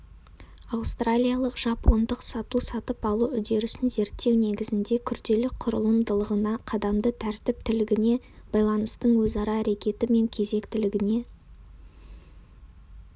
аустралиялық-жапондық сату-сатып алу үдерісін зерттеу негізінде күрделі құрылымдылығына қадамды тәртіптілігіне байланыстың өзара әрекеті мен кезектілігіне